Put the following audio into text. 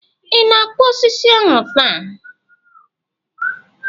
Ị na-akpụ osisi ahu taa?